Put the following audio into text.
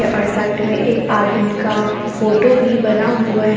और साइड में एक आदमीन का फोटो भी बना हुआ है।